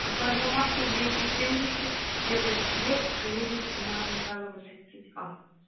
карла маркса двести семьдесят первый подъезд поедем на михайлова тридцать а